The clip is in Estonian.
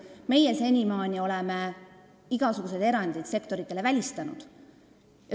Meie oleme senimaani igasugused erandid sektoris välistanud.